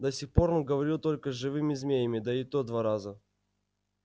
до сих пор он говорил только с живыми змеями да и то два раза